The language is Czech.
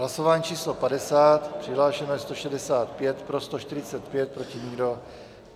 Hlasování číslo 50, přihlášeno je 165, pro 145, proti nikdo.